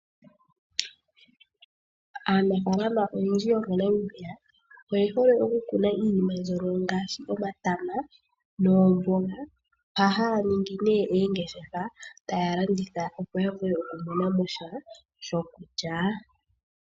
Aanafaalama oyendji yomoNamibia oyehole oku kuna iinima mbyono ngaashi ; omatama noomboga. Ohaya ningi nee oongeshefa taya landitha opo ya vule okumonamosha shokulya.